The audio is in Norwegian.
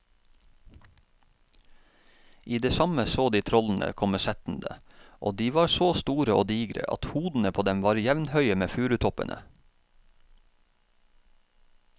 I det samme så de trollene komme settende, og de var så store og digre at hodene på dem var jevnhøye med furutoppene.